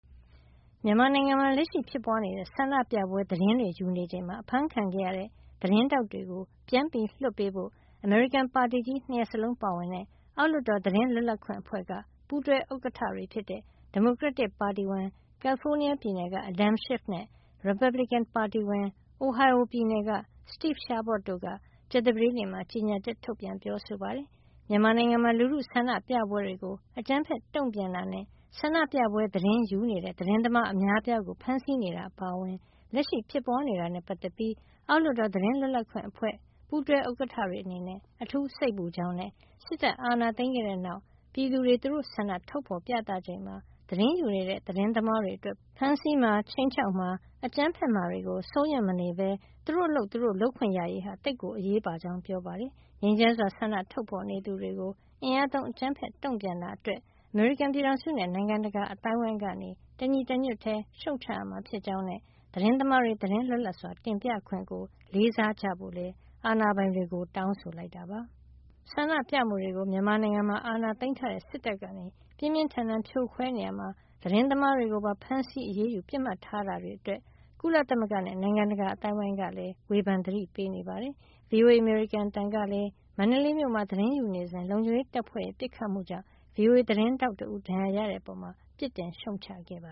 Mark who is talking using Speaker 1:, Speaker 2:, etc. Speaker 1: မြန်မာနိုင်ငံမှာ လက်ရှိဖြစ်ပွါးနေတဲ့ ဆန္ဒပြပွဲ သတင်းတွေယူနေချိန်မှာ အဖမ်းခံခဲ့ရတဲ့ သတင်းထောက်တွေကို ပြန်လွှတ်ပေးဖို့ အမေရိကန် ပါတီကြီး၂ ရပ်စလုံးပါဝင်တဲ့ အောက်လွှတ်တော် သတင်းလွတ်လပ်ခွင့်အဖွဲ့က ပူးတွဲ ဥက္ကဌတွေ ဖြစ်တဲ့ ဒီမိုကရက်တစ်ပါတီဝင် ကယ်လီဖိုးနီးယားပြည်နယ်က Adam Schiff နဲ့ ရီပတ်ဘလစ်ကင်ပါတီဝင် Ohio ပြည်နယ်က Steve Chabot တို့က ကြာသပတေးန့မှာ ကြေညာချက်ထုတ်ပြန်ပြောဆိုပါတယ်။ မြန်မာနိုင်ငံမှာ လူထုဆန္ဒပြပွဲတွေကို အကြမ်းဖက်တုံ့ပြန်တာနဲ့ ဆန္ဒပြပွဲသတင်းယူနေတဲ့ သတင်းသမားအများအပြားကို ဖမ်းဆီးနေတာအပါအဝင် လက်ရှိ ဖြစ်ပွါးနေတာတွေနဲ့ ပတ်သက်ပြီး အောက်လွှတ်တော် သတင်းလွတ်လပ်ခွင့်အဖွဲ့ ပူးတွဲဥက္ကဌတွေ အနေနဲ့ အထူးစိတ်ပူကြောင်းနဲ့ စစ်တပ်က အာဏာသိမ်းခဲ့တဲ့နောက် မြန်မာပြည်သူတွေက သူတို့ဆန္ဒကို ထုတ်ဖေါ်ပြသနေချိန်မှာ သတင်းယူနေတဲ့ သတင်းသမားတွေအတွက် ဖမ်းဆီးမှာ ခြိမ်းခြောက်မှာ အကြမ်းဖက်မှာတွေကို စိုးရွံ့မနေပဲ သူတို့အလုပ် သူတို့လုပ်ခွင့်ရရေးဟာ သိပ်ကို အရေးပါကြောင်း ပြောပါတယ်။ ငြိမ်းချမ်းစွာဆန္ဒထုတ်ဖေါ်နေသူတွေကို အင်အားသုံး၊ အကြမ်းဖက်တုံ့ပြန်တာ အတွက် အမေရိကန်ပြည်ထောင်စုနဲ့ နိုင်ငံတကာ အသိုင်းအဝိုင်းက တညီတညွတ်ထည်း ရှုတ်ချရမှာ ဖြစ်ကြောင်းနဲ့ သတင်းသမားတွေ သတင်းလွတ်လပ်စွာတင်ပြခွင့်ကို လေးစားကြဖို့လည်း အာဏာပိုင်တွေကို တောင်းဆိုလိုက်ပါတယ်။ ဆန္ဒပြမှုတွေကို မြန်မာနိုင်ငံမှာ အာဏာသိမ်းထားတဲ့ စစ်တပ်က ပြင်းပြင်းထန်ထန်ဖြိုခွဲနေရာမှာ သတင်းသမားတွေကိုပါ ဖမ်းဆီးအရေးယူ၊ ပစ်မှတ်ထားတာတွေအတွက် ကုလသမဂ္ဂနဲ့ နိုင်ငံတကာအသိုင်းဝိုင်းကလည်း ဝေဖန်သတိပေးနေတာပါ။ ဗွီအိုအေ အမေရိကန်အသံကလည်း မန္တလေးမြို့မှာ သတင်းယူနေစဉ် လုံခြုံရေးတပ်ဖွဲ့တွေရဲ့ ပစ်ခတ်မှုကြောင့် ဗွီအိုအေ သတင်းထောက်တဦးပါ ဒဏ်ရာရခဲ့တဲ့အပေါ် ပြစ်တင်ရှုတ်ချခဲ့ပ